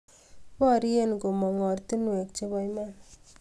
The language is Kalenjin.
Baryee komung ortuwek chebaa iman